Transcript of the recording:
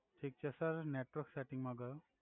Thick છે sir network settings માં ગયો.